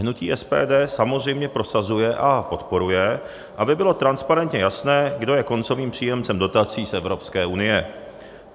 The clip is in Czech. Hnutí SPD samozřejmě prosazuje a podporuje, aby bylo transparentně jasné, kdo je koncovým příjemcem dotací z Evropské unie.